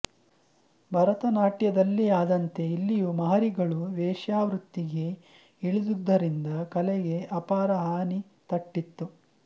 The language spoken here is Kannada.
ಭರತನಾಟ್ಯದಲ್ಲಿ ಆದಂತೆ ಇಲ್ಲಿಯೂ ಮಹರಿಗಳು ವೇಶ್ಯಾವೃತ್ತಿಗೆ ಇಳಿದುದರಿಂದ ಕಲೆಗೆ ಅಪಾರ ಹಾನಿತಟ್ಟಿತು